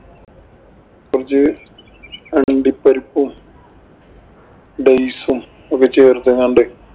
കൊറച്ചു അണ്ടിപ്പരിപ്പും, dates ഒക്കെ ചേര്‍ക്കുന്നുണ്ട്.